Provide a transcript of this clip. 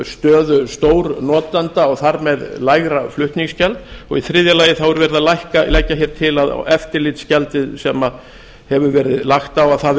stöðu stórnotanda og þar með lægra flutningsgjald og í þriðja lagi er verið að leggja hér til að eftirlitsgjaldið sem hefur verið lagt á